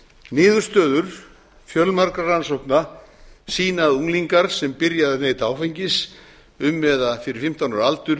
niðurstöður fjölmargra rannsókna sýna að unglingar sem byrja að neyta áfengis um eða fyrir fimmtán ára aldur